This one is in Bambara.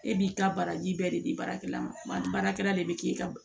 E b'i ka baraji bɛɛ de di baarakɛla ma baarakɛla de bɛ k'e ka